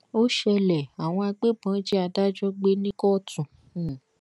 ó ṣẹlẹ àwọn agbébọn jí adájọ gbé ní kóòtù um